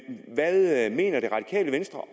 hvad mener det radikale venstre